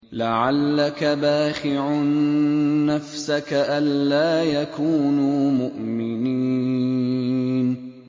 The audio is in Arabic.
لَعَلَّكَ بَاخِعٌ نَّفْسَكَ أَلَّا يَكُونُوا مُؤْمِنِينَ